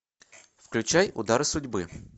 включай удары судьбы